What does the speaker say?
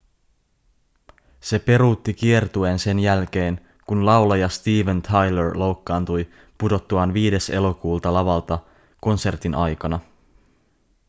se peruutti kiertueen sen jälkeen kun laulaja steven tyler loukkaantui pudottuaan 5 elokuuta lavalta konsertin aikana